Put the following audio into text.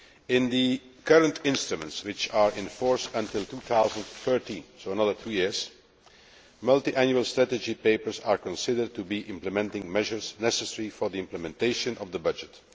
In the current instruments, which are in force until 2013, which means another two years, multiannual strategy papers are considered to be implementing measures necessary for the implementation of the budget.